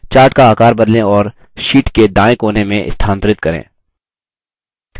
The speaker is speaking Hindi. chart का आकार बदलें और sheet के दायें कोने में स्थानांतरित करें